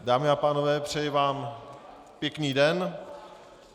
Dámy a pánové, přeji vám pěkný den.